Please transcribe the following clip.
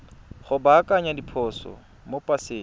go baakanya diphoso mo paseng